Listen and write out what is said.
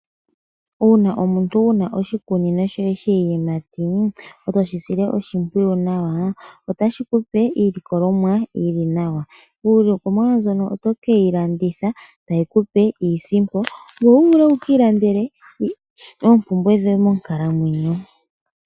Uuna omuntu wuna oshikunino shoye shiyimati etoshi sile oshimpwiyu otashi kupe iilikolomwa yili nawa. Iilikolomwa mbyono otokeyi landitha tayi kupe iisimpo wuvule wuki landele oompumbwe dhoye monkalamwenyo.